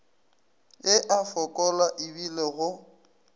e a fokola ebile go